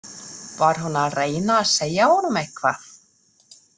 Var hún að reyna að segja honum eitthvað?